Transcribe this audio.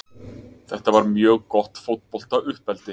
Þetta var mjög gott fótbolta uppeldi.